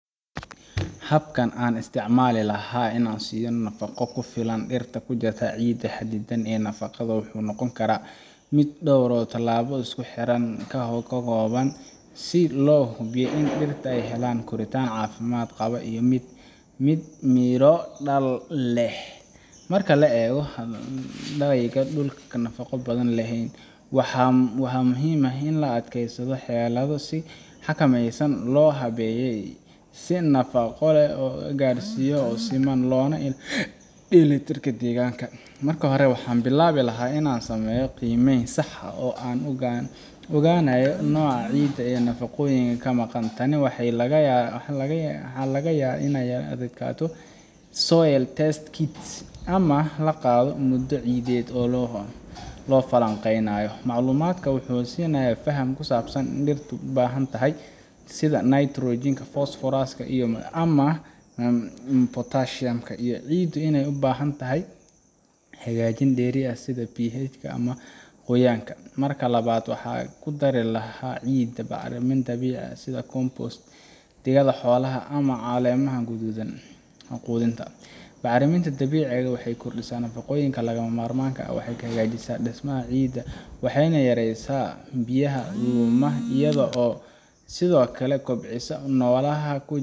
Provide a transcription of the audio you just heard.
Habka aan isticmaali lahaa si aan u siiyo nafaqo ku filan dhirta ku jirta ciidda xaddidan ee nafaqada leh wuxuu noqon lahaa mid dhowr tallaabo isku xiran ka kooban, si loo hubiyo in dhirta ay helaan koritaan caafimaad qaba iyo mid miro dhal leh. Marka laga hadlayo dhul aan nafaqo badan lahayn, waxaa muhiim ah in la adeegsanayo xeelado si xikmadeysan loo habeeyay si nafaqo loo gaarsiiyo si siman loona ilaaliyo dheellitirka deegaanka. Marka hore, waxaan bilaabi lahaa in aan sameeyo qiimeyn sax ah oo aan ku ogaanayo nooca ciidda iyo nafaqooyinka ka maqan. Tani waxaa lagu gaaraa iyadoo la adeegsanayo soil test kits ama la qaado muunado ciideed si loo falanqeeyo. Macluumaadkan wuxuu i siinayaa faham ku saabsan waxa dhirtu u baahan tahay, sida nitrogen, phosphorus, ama potassium, iyo in ciiddu ay u baahan tahay hagaajin dheeri ah sida pH-ka ama qoyaanka. Marka labaad, waxaan ku dari lahaa ciidda bacrimin dabiici ah sida compost, digada xoolaha, ama caleemaha qudhuntay. Bacriminta dabiiciga ah waxay kordhisaa nafaqooyinka lagama maarmaanka ah, waxay hagaajisaa dhismaha ciidda, waxayna yareysaa biyaha luma iyadoo sidoo kale kobcisa noolaha